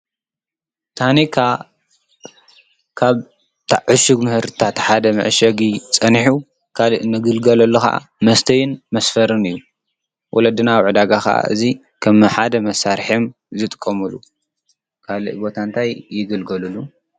ታኒካ ካብ ዳ ዕሹግ ምኅርታት ሓደ መዐሸጊ ጸኒሑ ካልእ ክንግልገለሉ ኸዓ መስተይን፣ መስፈርን እዩ። ውለድና ኣብ ዕዳጋ ኸዓ እዙይ ኸም ሓደ መሳርሐም እዮም ዝጥቆሙሉ ካልእ ቦታ እንታይ ይግልገልሉ?